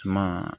Suma